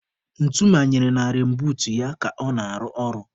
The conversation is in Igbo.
Ntu manyere na reinbuut ya ka ọ na-arụ ọrụ.